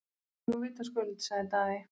Nú vitaskuld, sagði Daði.